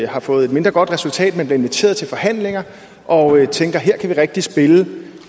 har fået et mindre godt resultat men bliver inviteret til forhandlinger og tænker her kan vi rigtig spille